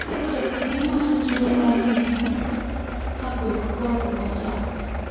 jopur ne manyo chiro mar gikgi kapok koth ochako